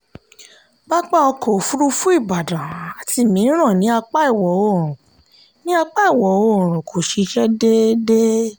pápá ọkọ̀ òfurufú ìbàdàn àti mìíràn ní apá ìwọ̀òrùn ní apá ìwọ̀òrùn kò ṣiṣẹ́ déédé.